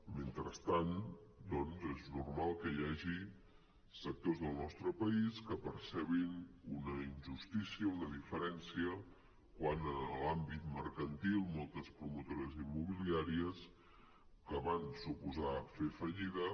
mentrestant és normal que hi hagi sectors del nostre país que percebin una injustícia una diferència quan en l’àmbit mercantil moltes promotores immobiliàries que van fer fallida